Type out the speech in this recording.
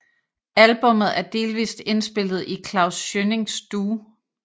Albummet er delvist indspillet i Klaus Schønnings studie